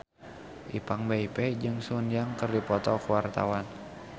Ipank BIP jeung Sun Yang keur dipoto ku wartawan